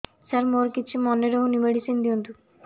ସାର ମୋର କିଛି ମନେ ରହୁନି ମେଡିସିନ ଦିଅନ୍ତୁ